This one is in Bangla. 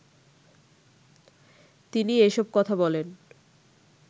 তিনি এসব কথা বলেন